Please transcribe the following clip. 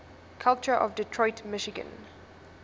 culture of detroit michigan